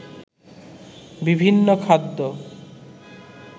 বিভিন্ন খাদ্য